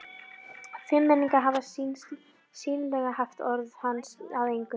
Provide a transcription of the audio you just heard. Fimmmenningarnir hafa sýnilega haft orð hans að engu.